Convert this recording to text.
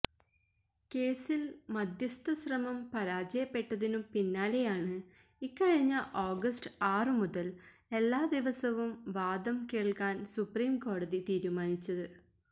കേസില് മധ്യസ്ഥശ്രമം പരാജയപ്പെട്ടതിനു പിന്നാലെയാണ് ഇക്കഴിഞ്ഞ ഓഗസ്റ്റ് ആറു മുതല് എല്ലാ ദിവസവും വാദം കേള്ക്കാന് സുപ്രീംകോടതി തീരുമാനിച്ചത്